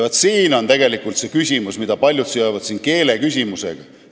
Siin on tegelikult see küsimus, mida paljud seovad keeleküsimusega.